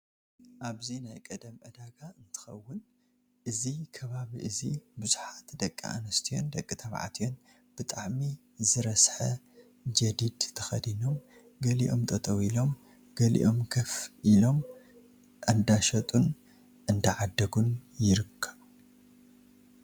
ኣብዚ ናይ ቀደም ዕዳጋ እንትከውን እዚ ከባቢ እዚ ብዙሓት ደቂ ኣንስትዮን ደቂ ተባዓትዮ ብጣዕሚ ዝረሰሐ ጀዲድ ተከዲኖም ገሊኦም ጠጠው ኢሎም ገሊም ገፍ ኢሎም እዳሸጡን እንዳዓደጉን ይርከቡ።